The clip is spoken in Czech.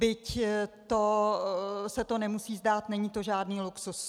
Byť se to nemusí zdát, není to žádný luxus.